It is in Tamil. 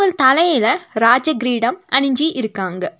தலையில ராஜ க்ரீடம் அணிஞ்சி இருக்காங்க.